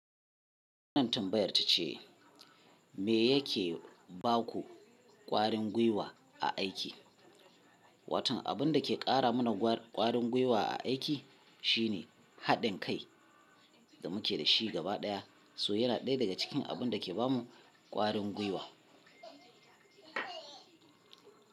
Wannan tambayar tace, me yake baku ƙwarin gwiwa a aiki? Watan abun dake ƙara mana ƙwarin guiwa a aiki shine haɗin kai da muke dashi gaba ɗaya, so yana ɗaya daga cikin abun dake bamu ƙwarin guiwa.